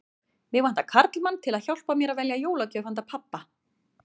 Mig vantar karlmann til að hjálpa mér að velja jólagjöf handa pabba